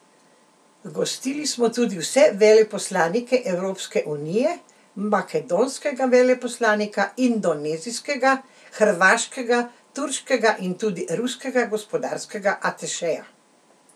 Gostili smo tudi vse veleposlanike Evropske unije, makedonskega veleposlanika, indonezijskega, hrvaškega, turškega in tudi ruskega gospodarskega atašeja.